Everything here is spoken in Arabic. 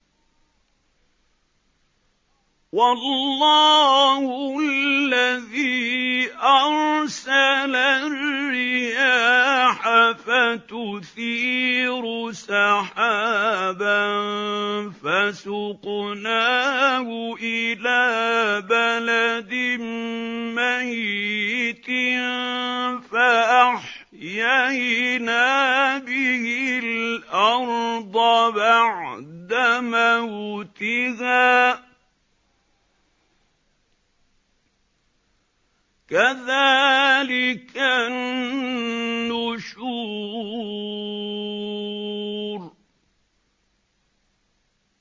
وَاللَّهُ الَّذِي أَرْسَلَ الرِّيَاحَ فَتُثِيرُ سَحَابًا فَسُقْنَاهُ إِلَىٰ بَلَدٍ مَّيِّتٍ فَأَحْيَيْنَا بِهِ الْأَرْضَ بَعْدَ مَوْتِهَا ۚ كَذَٰلِكَ النُّشُورُ